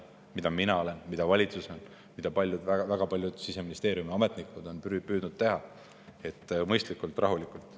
Mina olen, valitsus on ja väga paljud Siseministeeriumi ametnikud on püüdnud teha seda kõike mõistlikult ja rahulikult.